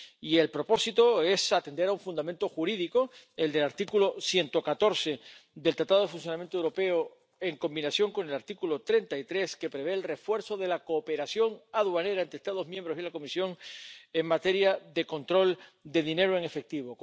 Y el propósito es atender a un fundamento jurídico que prevé el refuerzo de la cooperación aduanera entre Estados miembros y la Comisión en materia de control de dinero en efectivo.